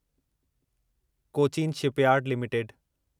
Cochin shipyard limited